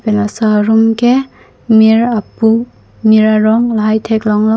laso arum ke mir apu mir arong lahai thek long lo.